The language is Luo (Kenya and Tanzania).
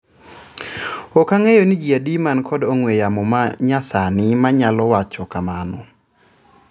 Ok ang'eyo ni jii adi man kod ong'wee yamo ma nyasani manyalo wacho kamano."